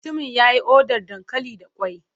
Mutumin ya yi odar dankali da ƙwai.